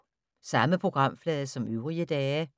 Samme programflade som øvrige dage